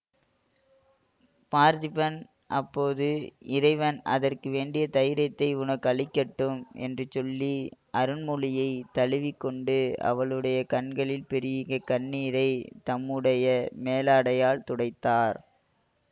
பார்த்திபன் அப்போது இறைவன் அதற்கு வேண்டிய தைரியத்தை உனக்கு அளிக்கட்டும் என்று சொல்லி அருள்மொழியைத் தழுவி கொண்டு அவளுடைய கண்களில் பெருகிய கண்ணீரை தம்முடைய மேலாடையால் துடைத்தார்